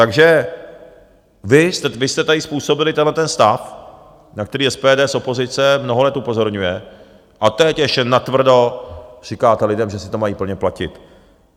Takže vy jste tady způsobili tenhle stav, na který SPD z opozice mnoho let upozorňuje, a teď ještě natvrdo říkáte lidem, že si to mají plně platit.